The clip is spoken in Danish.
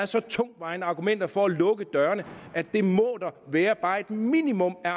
så tungtvejende argumenter for at lukke dørene at der må være bare et minimum af